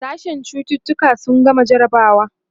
sashen cututuka sun gama jarabawa